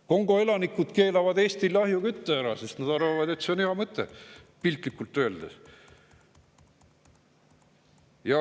Kongo elanikud keelavad Eestil ahjukütte ära, sest nad arvavad, et see on hea mõte, piltlikult öeldes.